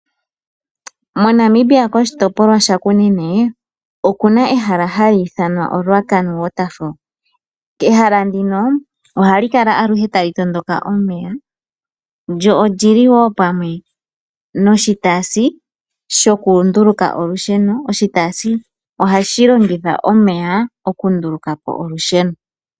MoNamibia koshitopolwa shaKunene oku na ehala hali ithanwa oRuacana waterfall. Ehala ndino ohali kala aluhe tali tondoka omeya, lyo oli li wo pamwe noshitaasi shokunduluka olusheno. Oshitaasi ohashi longitha omeya okunduluka po olusheno.